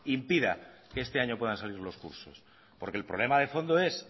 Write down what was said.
impida que este año puedan salir los cursos porque el problema de fondo es